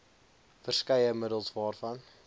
verskeie middels waarvan